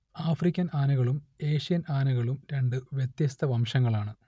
African ആനകളും Asian ആനകളും രണ്ട് വ്യത്യസ്ത വംശങ്ങളാണ്